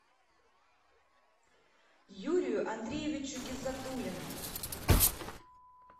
юрию андреевичу гиззатуллину